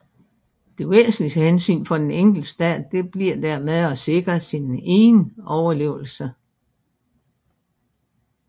Det væsentligste hensyn for den enkelte stat bliver dermed at sikre sin egen overlevelse